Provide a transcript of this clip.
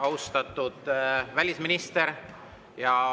Austatud välisminister!